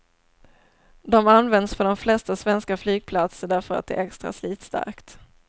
De används på de flesta svenska flygplatser därför att det är extra slitstarkt.